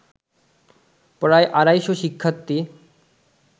প্রায় আড়াইশ শিক্ষার্থী